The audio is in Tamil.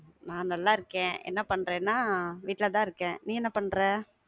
நான் நல்லா இருக்கேன். என்ன பண்றேனா, வீட்ல தான் இருக்கேன். நீ என்ன பண்ற?